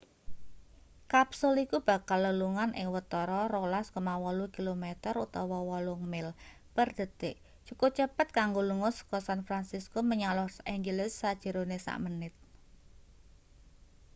kapsul iku bakal lelungan ing watara 12,8 km utawa 8 mil per detik cukup cepet kanggo lunga seka san fransisco menyang los angeles sajerone samenit